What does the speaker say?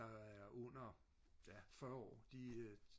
og er under ja fyrre år de øh